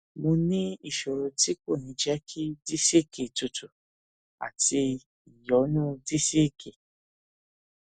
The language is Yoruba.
mo ní ìṣòro tí kò ní jẹ kí disiki tútù àti ìyọnu disiki